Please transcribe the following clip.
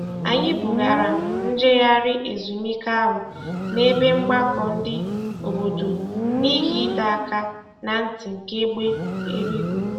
Anyị bugara njegharị ezumike ahụ n'ebe mgbakọ ndị obodo n'ihi ịdọ aka na ntị nke egbe eluigwe.